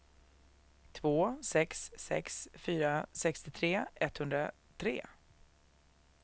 två sex sex fyra sextiotre etthundratre